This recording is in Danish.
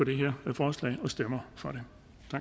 det her forslag og stemmer for det